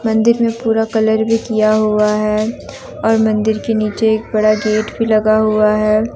मंदिर में पूरा कलर भी किया हुआ है और मंदिर के नीचे एक बड़ा गेट भी लगा हुआ है।